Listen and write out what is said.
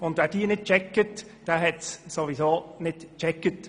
Wer diese nicht begreift, hat es sowieso nicht begriffen.